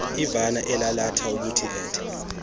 imvana elalatha ubuethe